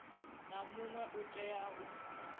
na muṅwe u tea u